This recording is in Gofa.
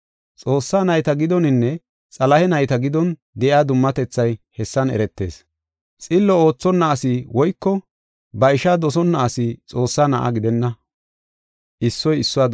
Xoossaa nayta giddoninne Xalahe nayta giddon de7iya dummatethay hessan eretees; xillo oothonna asi woyko ba ishaa dosonna asi Xoossaa Na7a gidenna.